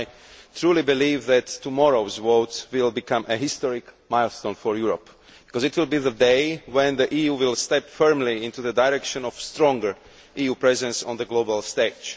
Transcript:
I truly believe that tomorrow's vote will become a historic milestone for Europe because it will be the day when the EU steps firmly in the direction of a stronger EU presence on the global stage.